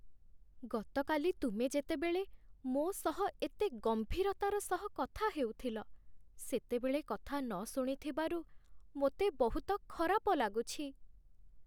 ଗତକାଲି ତୁମେ ଯେତେବେଳେ ମୋ ସହ ଏତେ ଗମ୍ଭୀରତାର ସହ କଥା ହେଉଥିଲ, ସେତେବେଳେ କଥା ନ ଶୁଣିଥିବାରୁ ମୋତେ ବହୁତ ଖରାପ ଲାଗୁଛି।